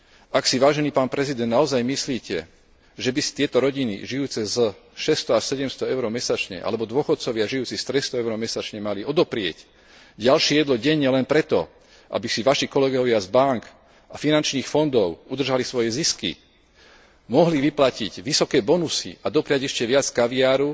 Ak si, vážený pán prezident, naozaj myslíte, že by si tieto rodiny žijúce zo 600 až 700 EUR mesačne alebo dôchodcovia žijúci z 300 EUR mesačne mali odoprieť ďalšie jedlo denne len preto, aby si Vaši kolegovia z bánk a finančných fondov udržali svoje zisky, mohli vyplatiť vysoké bonusy a dopriať ešte viac kaviáru,